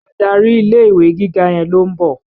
Adarí ilé-ìwé gíga yẹn ló ń bọ̀